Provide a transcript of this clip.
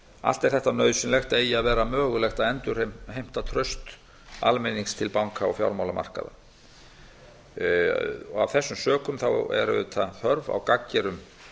allt er þetta nauðsynlegt eigi að vera mögulegt að endurheimta traust almennings til banka og fjármálamarkaða af þessum sökum er auðvitað þörf á gagngerum